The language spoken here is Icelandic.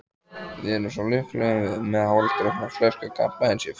Við erum svo lukkuleg, með hálfdrukkna flösku kampavíns í fötu.